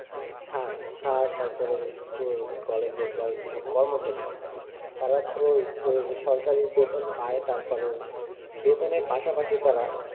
সার sir তারপর school কলেজের সব কর্মচারী তারা তো সরকারি বেতন পায় তারপরেও বেতনের পাশাপাশি তারা,